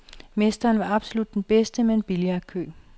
Mesteren var absolut den bedste med en billardkø.